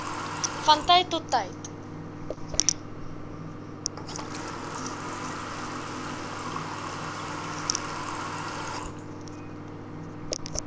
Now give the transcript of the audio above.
van tyd tot